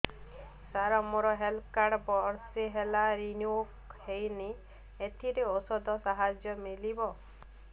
ସାର ମୋର health card ବର୍ଷେ ହେଲା ରିନିଓ ହେଇନି ଏଥିରେ ଔଷଧ ସାହାଯ୍ୟ ମିଳିବ